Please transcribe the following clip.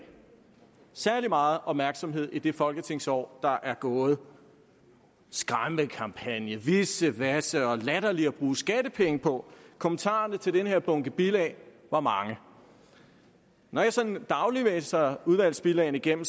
særlig meget opmærksomhed i det folketingsår der er gået skræmmekampagne vissevasse og latterligt at bruge skattepenge på kommentarerne til denne bunke bilag var mange når jeg sådan dagligt læser udvalgsbilagene igennem